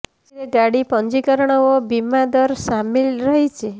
ସେଥିରେ ଗାଡ଼ି ପଞ୍ଜୀକରଣ ଓ ବୀମା ଦର ସାମିଲ ରହିଛି